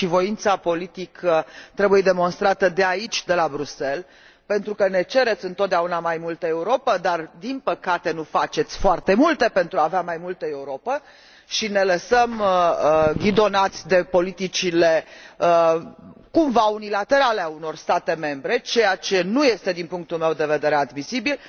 Voința politică trebuie demonstrată de aici, de la Bruxelles, pentru că ne cereți întotdeauna mai multă Europă, dar, din păcate, nu faceți foarte multe pentru a avea mai multă Europă și ne lăsăm ghidați de politicile cumva unilaterale ale unor state membre, ceea ce nu este, din punctul meu de vedere, admisibil.